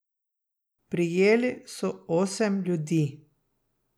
Prijeli so osem ljudi.